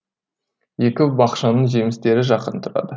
екі бақшаның жемістері жақын тұрады